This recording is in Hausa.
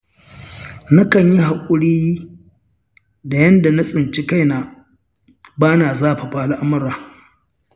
Na kan yi haƙuri da yanda na tsinci kaina, ba na zafafa al'amura.